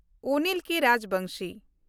ᱚᱱᱤᱞ ᱠᱮ. ᱨᱟᱡᱽᱵᱚᱝᱥᱤ